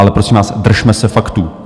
Ale prosím vás, držme se faktů.